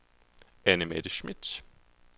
Annemette Schmidt